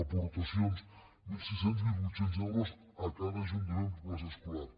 aportacions de mil sis cents mil vuit cents euros a cada ajuntament per plaça escolar